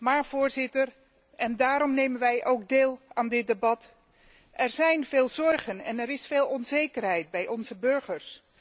Maar en daarom nemen wij ook deel aan dit debat er zijn veel zorgen en er is veel onzekerheid bij onze burgers.